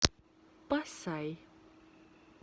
пасай